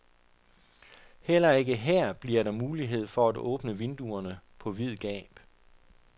Heller ikke her bliver der mulighed for at åbne vinduerne på vid gab.